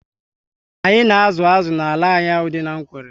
Anyị na azụ azụ n'ala anyị ahụ dị n'Nkwelle